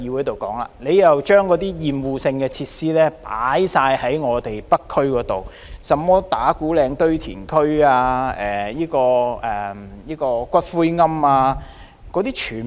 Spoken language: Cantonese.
當局將所有厭惡性設施全放到北區，例如打鼓嶺堆填區及骨灰龕等。